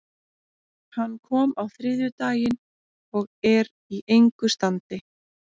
Hann kom á þriðjudaginn og er í engu standi.